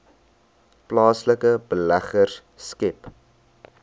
plaaslike beleggers skep